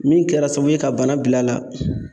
Min kɛra sababu ye ka bana bil'a la